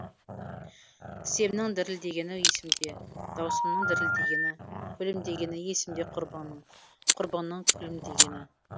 тіземнің дірілдегені есімде даусымның дірілдегені күлімдегені есімде құрбыңның құрбыңның күлімдегені